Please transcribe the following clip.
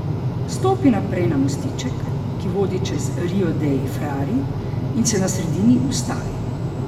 Stopi naprej na mostiček, ki vodi čez rio dei Frari, in se na sredini ustavi.